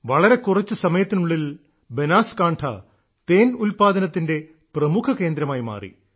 വളരെ കുറച്ച് സമയത്തിനുള്ളിൽ ബനാസ്കാൺഠാ തേൻ ഉല്പാദനത്തിന്റെ പ്രമുഖ കേന്ദ്രമായി മാറി